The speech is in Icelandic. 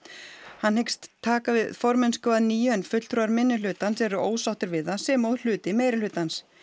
hann hyggst taka við formennsku að nýju en fulltrúar minnihlutans eru ósáttir við það sem og hluti meirihlutans